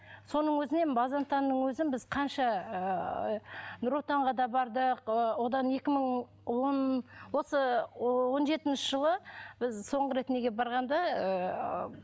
соның өзінен бозентанның өзін біз қанша ыыы нұр отанға да бардық ы одан екі мың он осы он жетінші жылы біз соңғы рет неге барғанда ыыы